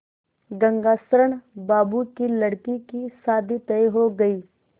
गंगाशरण बाबू की लड़की की शादी तय हो गई